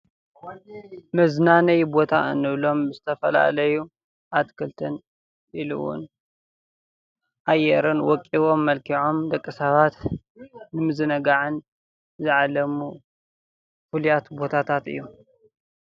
መዝናነዪ ቦታ እንብሎም ዝተፈላለዩ አትክልትን ኢሉ እዉን አየርን ወቂቦምን መልኪዖምን ደቂ ሰባት ንምዝንጋዕን ዝዓለሙ ፍሉያት ቦታታት እዮም።